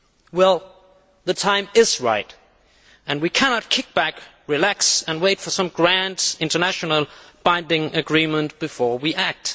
Well, the time is right and we cannot sit back and relax and wait for some grand international binding agreement before we act.